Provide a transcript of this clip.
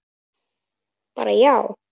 Bara já?